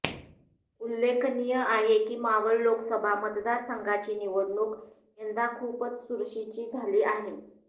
उल्लेखनीय आहे की मावळ लोकसभा मतदारसंघाची निवडणूक यंदा खूपच चुरशीची झाली आहे